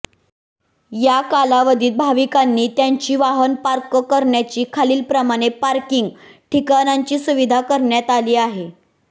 या कालावधीत भाविकांनी त्यांची वाहन पार्क करण्यासाठी खालील प्रमाणे पार्किंग ठिकाणांची सुविधा करण्यात आली आहे